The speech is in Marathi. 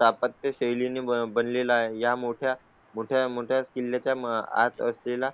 तापत या शैली ने बनले ला आहे. या मोठ्या मोठ्या मग त्याच किल्ल्या च्या आत असलेला